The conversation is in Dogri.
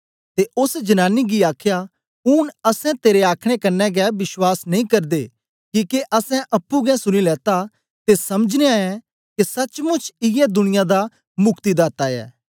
ते ओस जनानी गी आखया ऊन असैं तेरे आखने कन्ने गै विश्वास नेई करदे किके असैं अप्पुं गै सुनी लीता ते समझनयां ऐं के सचमुच इयै दुनियां दा मुक्तिदाता ऐ